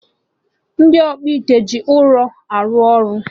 Ndị ọkpụite ji ụrọ arụ ọrụ